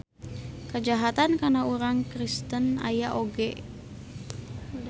Kajahatan kana urang Kristen aya oge.